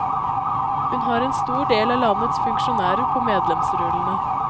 Hun har en stor del av landets funksjonærer på medlemsrullene.